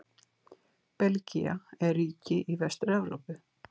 Belgía er ríki í Vestur-Evrópu.